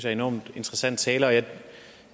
enormt interessant tale jeg